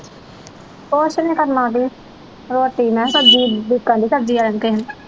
ਕੁਛ ਨੀ ਕਰਨਾ ਕੀ ਰੋਟੀ ਮੈਂ ਸਬਜ਼ੀ ਉਡੀਕਣ ਦੀ ਸਬਜ਼ੀ ਵਾਲੇ ਨੂੰ ਕਿਸੇ ਨੂੰ